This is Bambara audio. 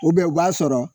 u b'a sɔrɔ